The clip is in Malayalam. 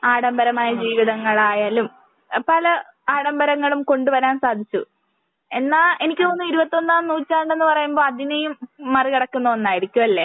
ആഡംബരമായി ജീവിതങ്ങൾ ആയാലും പല ആഡംബരങ്ങളും കൊണ്ട് വരാൻ സാധിച്ചു. എന്നാൽ എനിക്ക് തോന്നുന്നു ഇരുപത്തി ഒന്നാം നൂറ്റാണ്ട് എന്ന് പറയുമ്പോൾ അതിനെയും മറികടക്കുന്ന ഒന്നായിരിക്കും അല്ലേ?